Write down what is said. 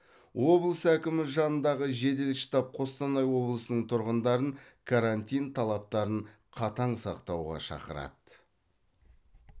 облыс әкімі жанындағы жедел штаб қостанай облысының тұрғындарын карантин талаптарын қатаң сақтауға шақырады